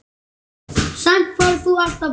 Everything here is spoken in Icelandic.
Samt færð þú aldrei bréf.